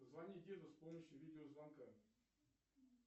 позвони деду с помощью видеозвонка